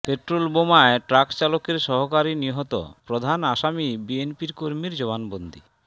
পেট্রলবোমায় ট্রাকচালকের সহকারী নিহত প্রধান আসামি বিএনপি কর্মীর জবানবন্দি